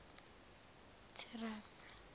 thirase